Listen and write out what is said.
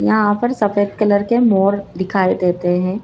यहां पर सफेद कलर के मोर दिखाई देते हैं